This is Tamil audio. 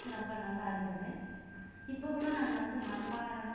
ரொம்ப நல்லா இருந்தது இப்ப கூட நாங்க வந்து மண் பானையிலதான்